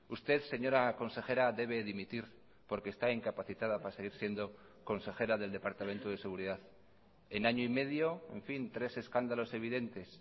usted señora consejera debe dimitir porque está incapacitada para seguir siendo consejera del departamento de seguridad en año y medio en fin tres escándalos evidentes